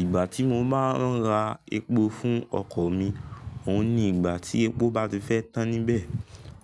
Ìgbà tí mo máa ń ra epo fún ọkọ̀ mi, òun ni ìgbà tí epo bá ti fẹ́ tán níbẹ̀,